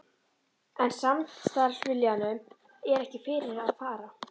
En samstarfsviljanum er ekki fyrir að fara.